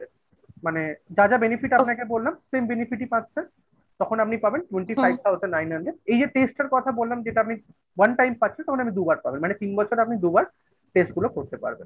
মানে যা যা Benefit আপনাকে বললাম same Benefit ই পাচ্ছে তখন আপনি পাবেন twenty five thousand nine hundred এই যে test এর কথা বললাম যেটা আপনি one time পাচ্ছেন তখন আপনি দুবার পাবেন, মানে তিন বছরে আপনি দুবার test গুলো করতে পারবেন